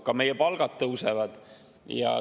Ka meie palgad tõusevad.